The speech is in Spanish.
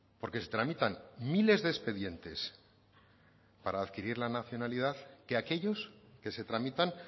porque se tramitan miles de expedientes para adquirir la nacionalidad que aquellos que se tramitan